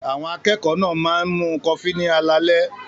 Àwọn akẹ́kọ̀ọ́ náà máa ń mu kọfí ní alaalẹ́.